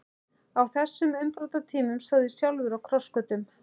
Á þessum umbrotatímum stóð ég sjálfur á krossgötum.